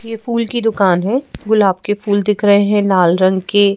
ये फूल की दुकान है गुलाब के फूल दिख रहे हैं लाल रंग के --